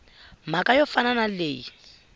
mhaka yo fana na leyi